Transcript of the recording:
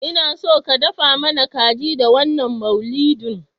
Inaso ka dafa mana kaji da wannan maulidin